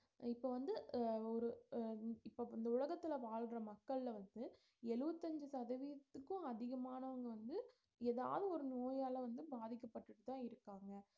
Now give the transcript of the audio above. இப்ப வந்து அஹ் ஒரு அஹ் இப்ப இந்த உலகத்துல வாழற மக்கள்ல வந்து எழுவத்தி அஞ்சு சதவீதத்துக்கும் அதிகமானவங்க வந்து ஏதாவது ஒரு நோயால வந்து பாதிக்கப்பட்டுட்டுதான் இருக்காங்க